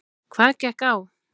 Hvað gekk á?